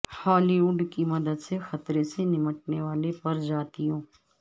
ہالی وڈ کی مدد سے خطرے سے نمٹنے والے پرجاتیوں